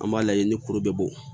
An b'a lajɛ ni kuru bɛɛ bo